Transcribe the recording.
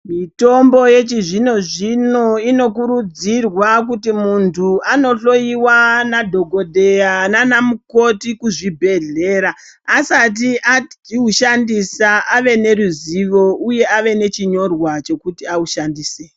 Mitombo yechizvino zvino inokurudzirwa kuti muntu andohloyiwa ndiana dhokodheya naana mukoti kuzvibhedhleya asati aushandisa ave neruzivo uye ave nechinyorwa chekuti aushandise.